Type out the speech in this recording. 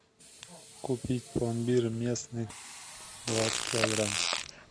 купить пломбир местный двадцать килограмм